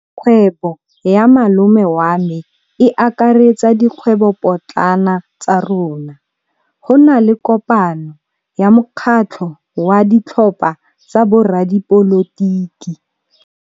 Kgwêbô ya malome wa me e akaretsa dikgwêbôpotlana tsa rona. Go na le kopanô ya mokgatlhô wa ditlhopha tsa boradipolotiki.